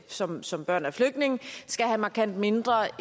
som som børn af flygtninge skal have markant mindre